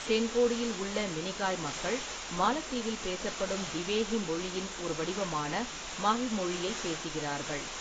தென்கோடியில் உள்ள மினிகாய் மக்கள் மாலத்தீவில் பேசப்படும் திவேஹி மொழியின் ஒரு வடிவமான மஹல் மொழியைப் பேசுகிறார்கள்.